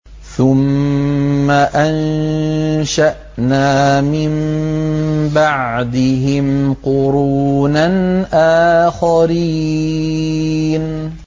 ثُمَّ أَنشَأْنَا مِن بَعْدِهِمْ قُرُونًا آخَرِينَ